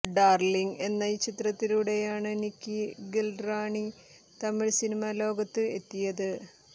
darling എന്ന ചിത്രത്തിലൂടെയാണ് Nikki Galrani Tamil cinema ലോകത്ത് എത്തിയത്